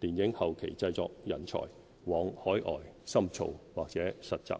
電影後期製作人才往海外深造或實習。